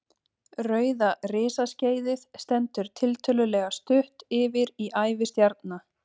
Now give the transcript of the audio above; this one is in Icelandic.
Rauða risaskeiðið stendur tiltölulega stutt yfir í ævi stjarna.